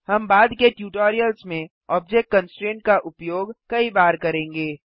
हम बाद के ट्यूटोरियल्स में ऑब्जेक्ट कंस्ट्रेंट का उपयोग कई बार करेंगे